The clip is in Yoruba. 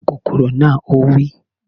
Gbá kòkòrò na! Ó wí